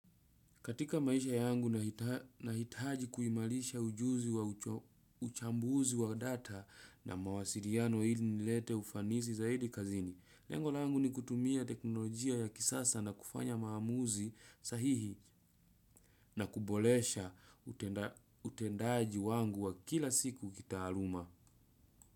Katika maisha yangu nahitaji kuimarisha ujuzi wa uchambuzi wa data na mawasiliano ili nilete ufanisi zaidi kazini. Lengo langu ni kutumia teknolojia ya kisasa na kufanya maamuzi sahihi na kuboresha utendaji wangu wa kila siku kitaaluma.